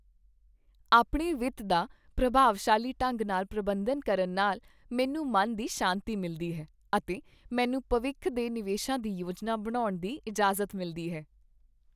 ਆਪਣੇ ਵਿੱਤ ਦਾ ਪ੍ਰਭਾਵਸ਼ਾਲੀ ਢੰਗ ਨਾਲ ਪ੍ਰਬੰਧਨ ਕਰਨ ਨਾਲ ਮੈਨੂੰ ਮਨ ਦੀ ਸ਼ਾਂਤੀ ਮਿਲਦੀ ਹੈ ਅਤੇ ਮੈਨੂੰ ਭਵਿੱਖ ਦੇ ਨਿਵੇਸ਼ਾਂ ਦੀ ਯੋਜਨਾ ਬਣਾਉਣ ਦੀ ਇਜਾਜ਼ਤ ਮਿਲਦੀ ਹੈ।